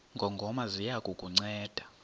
ngongoma ziya kukunceda